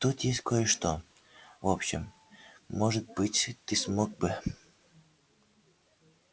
тут есть кое-что в общем может быть ты смог бы